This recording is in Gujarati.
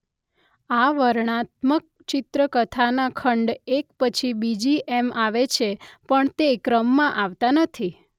આ વર્ણનાત્મક ચિત્ર કથાના ખંડ એક પછી બીજી એમ આવે છે પણ તે ક્રમમાં આવતા નથી.